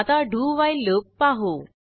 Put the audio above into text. आता do while loop पाहू